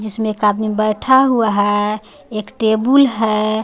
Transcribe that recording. जिसमें एक आदमी बैठा हुआ है एक है.